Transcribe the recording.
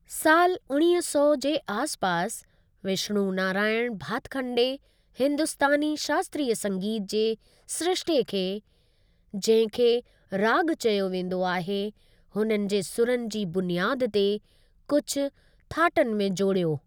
सालु उणिवींह सौ जे आसिपासि, विष्णु नारायण भातखंडे हिंदुस्तानी शास्त्रीय संगीत जे सिरिश्ते खे, जंहिं खे राॻ चयो वेंदो आहे, हुननि जे सुरनि जी बुनियादु ते कुझु थाटनि में जोड़ियो।